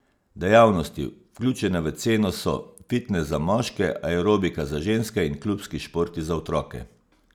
Dejavnosti, vključene v ceno, so fitnes za moške, aerobika za ženske in klubski športi za otroke.